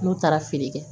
N'u taara feere kɛ